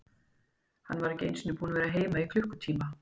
Hann var ekki einu sinni búinn að vera heima í klukkutíma.